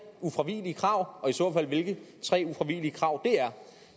ufravigelige krav og i så fald hvilke tre ufravigelige krav det er